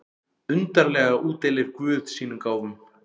Undarlega útdeilir guð sínum gáfum.